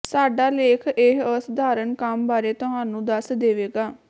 ਸਾਡਾ ਲੇਖ ਇਹ ਅਸਾਧਾਰਨ ਕੰਮ ਬਾਰੇ ਤੁਹਾਨੂੰ ਦੱਸ ਦੇਵੇਗਾ